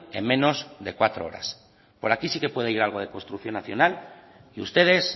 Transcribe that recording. en menorsde cuatro horas por aquí si que puede ir algo de construcción nacional y ustedes